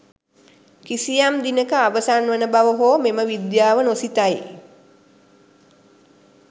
කිසියම් දිනක අවසන් වන බව හෝ මෙම විද්‍යාව නොසිතයි